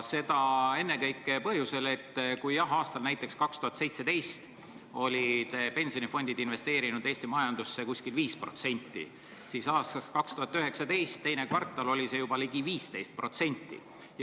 Seda ennekõike põhjusel, et näiteks aastal 2017 olid pensionifondid investeerinud Eesti majandusse umbes 5% oma rahast, siis aastal 2019 teises kvartalis oli see juba ligi 15%.